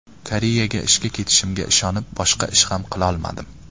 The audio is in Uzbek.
Koreyaga ishga ketishimga ishonib boshqa ish ham qilolmadim.